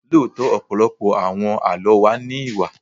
Lóòótọ́, ọ̀pọ̀lọpọ̀ àwọn Àlọ́ wa ní Ìwà.